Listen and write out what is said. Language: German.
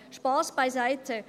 Spass beiseite.